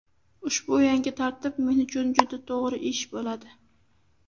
Ushbu yangi tartib men uchun juda to‘g‘ri ish bo‘ladi.